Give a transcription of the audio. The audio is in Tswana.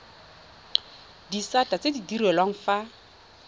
disata tse di direlwang fa